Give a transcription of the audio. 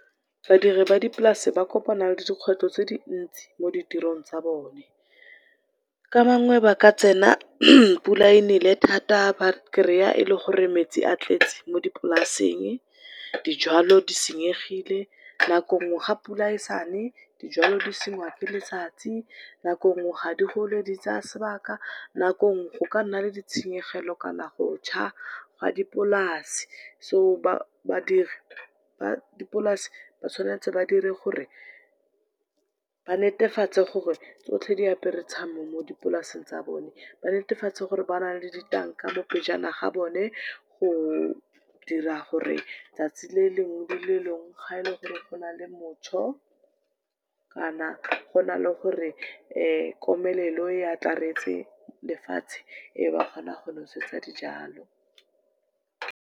Badiri ba dipolase ba kopana le dikgwetlho tse dintsi mo ditirong tsa bone. Ka bangwe ba ka tsena pula e nele thata ba kry-a e le gore metsi a tletse mo dipolaseng, dijwalo di senyegile nako nngwe ga pula e sane dijwalo di sengwa ke letsatsi, nako nngwe ga di gole di tsaa sebaka, nako nngwe go ka nna le ditshenyegelo kana go tjha ga dipolase, so badiri ba dipolase ba tshwanetse ba dire gore ba netefatse gore tsotlhe diapere tshiamo mo dipolaseng tsa bone. Ba netefatse gore ba na le ditanka mo pejana ga bone, go dira gore tsatsi le lengwe le lengwe gore gaele gore gona le , kana gona le gore komelelo e atlaretse lefatshe ba kgone go nosetsa dijalo.